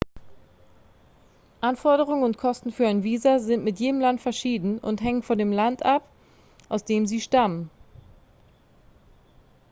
anforderungen und kosten für ein visa sind mit jedem land verschieden und hängen von dem land ab aus dem sie stammen